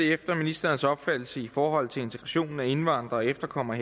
det efter ministerens opfattelse i forhold til integrationen af indvandrere og efterkommere